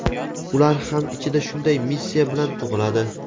ular ham ichida shunday missiya bilan tug‘iladi.